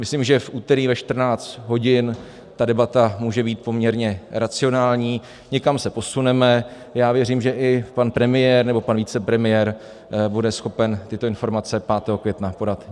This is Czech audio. Myslím, že v úterý ve 14.00 hodin ta debata může být poměrně racionální, někam se posuneme, já věřím, že i pan premiér nebo pan vicepremiér bude schopen tyto informace 5. května podat.